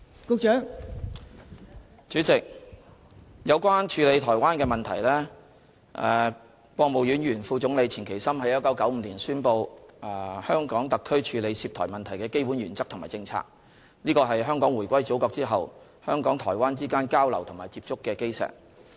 代理主席，有關處理台灣的問題，國務院前副總理錢其琛在1995年宣布，香港特區處理涉台問題的基本原則和政策，這是香港回歸祖國後，香港和台灣之間交流和接觸的基石。